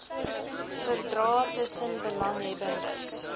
verdrae tussen belanghebbendes